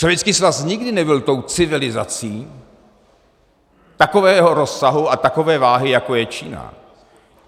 Sovětský svaz nikdy nebyl tou civilizací takového rozsahu a takové váhy, jako je Čína.